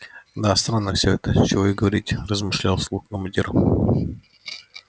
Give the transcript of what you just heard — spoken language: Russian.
да странно всё это чего и говорить размышлял вслух командир